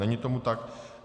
Není tomu tak.